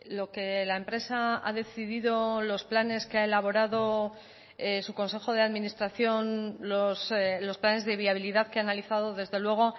lo que la empresa ha decidido los planes que ha elaborado su consejo de administración los planes de viabilidad que ha analizado desde luego